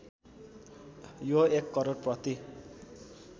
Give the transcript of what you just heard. यो १ करोड प्रति